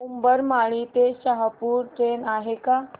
उंबरमाळी ते शहापूर ट्रेन आहे का